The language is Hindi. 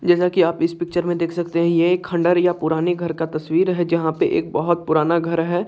जैसा की आप इस पिक्चर मे देख सकते है ये एक खण्डर या किसी पुराने घर का तस्वीर है जहाँ पे एक बोहोत पुराना घर है।